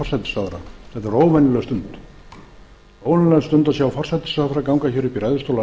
er óvenjuleg stund óvenjuleg stund að sjá forsætisráðherra ganga upp í ræðustól